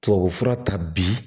Tubabufura ta bi